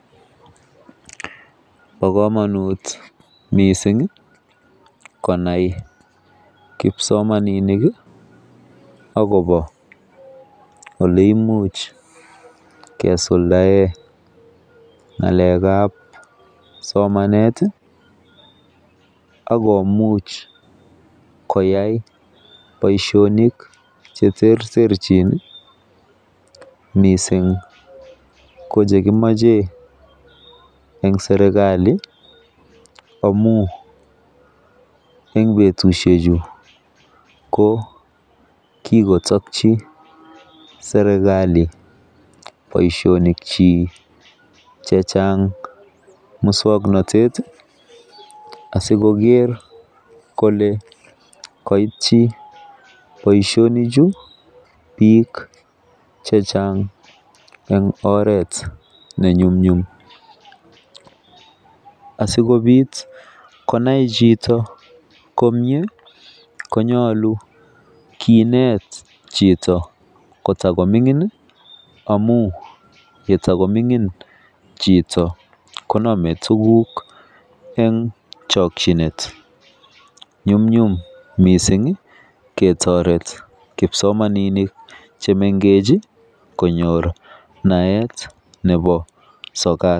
Ba kamanut mising konai kipsomaninik akoba oleimuch kosuldaen ngalek ab somanet akomuch koyai Baishonik cheterterchin mising kochekimache en serikali amun en betushek Chu ko kikotabchibserikali Baishonik chik chechang muswaknatet asikoker Kole Kaiti Baishonik Chu bik chechang en oret nenyumnyum asikobit konai Chito komie konyalu Kinet Chito kotakomingin amun yetakomingin Chito konamen tuguk en chakinet nyumnyum mising ketaret kipsomaninik chemengechen konyor naet Nebo sokat